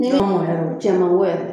yɛrɛ don, o cɛn man go yɛrɛ